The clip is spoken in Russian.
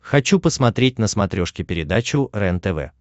хочу посмотреть на смотрешке передачу рентв